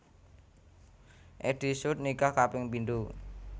Eddy Sud nikah kaping pindho